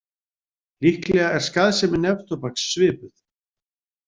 Líklega er skaðsemi neftóbaks svipuð.